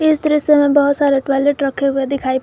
इस दृश्य में बहुत सारे टॉयलेट रखे हुए दिखाई--